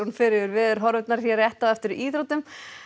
fer yfir veðurhorfurnar hér rétt á eftir íþróttum